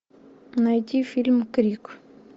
найди фильм крик